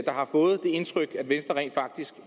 der har fået det indtryk at venstre rent faktisk